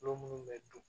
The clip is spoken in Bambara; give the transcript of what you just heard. Tulo munnu bɛ dun